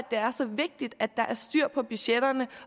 det er så vigtigt at der er styr på budgetterne